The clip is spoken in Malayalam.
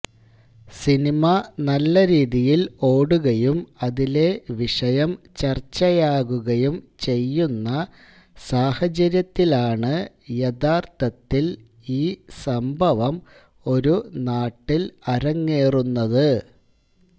സിനിമ നല്ല രീതിയില് ഓടുകയും അതിലെ വിഷയം ചര്ച്ചയാകുകയും ചെയ്യുന്ന സാഹചര്യത്തിലാണ് യഥാര്ത്ഥത്തില് ഈ സംഭവം ഒരു നാട്ടില് അരങ്ങേറുന്നത്